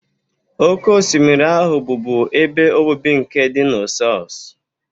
Oké osimiri ahụ bụbu ebe obibi nke dinosaurs.